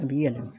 A bi yɛlɛma